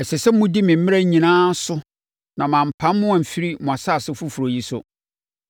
“ ‘Ɛsɛ sɛ modi me mmara nyinaa so na mampam mo amfiri mo asase foforɔ yi so.